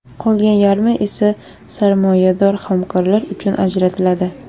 Qolgan yarmi esa sarmoyador hamkorlar uchun ajratiladi.